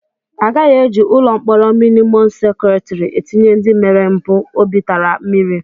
Agaghị eji ụlọ mkpọrọ mịnịmọm sekuriti etinye ndị mere mpụ obi tara mmiri.